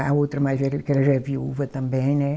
A outra mais velha, que ela já é viúva também, né?